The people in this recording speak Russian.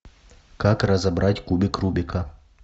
как разобрать кубик рубика